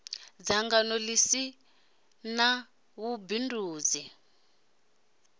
dzangano ḽi si ḽa vhubindudzi